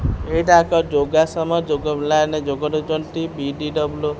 ଏଇଟା ଏକ ଯୋଗାସମ ଯୋଗ ପିଲାମାନେ ଯୋଗ ନେଉଛନ୍ତି ପିଟିଡବ୍ଲୁ --